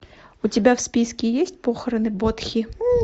у тебя в списке есть похороны бодхи